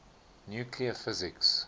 nuclear physics